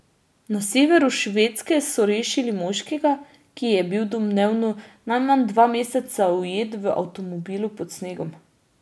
Na severu Švedske so rešili moškega, ki je bil domnevno najmanj dva meseca ujet v avtomobilu pod snegom.